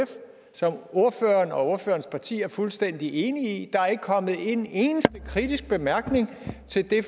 som ordføreren og ordførerens parti er fuldstændig enige i der er ikke kommet en eneste kritisk bemærkning til det